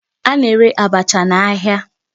A na-ere abacha ahịa.